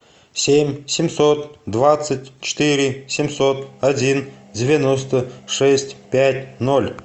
семь семьсот двадцать четыре семьсот один девяносто шесть пять ноль